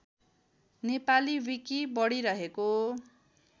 Nepali wiki बढिरहेको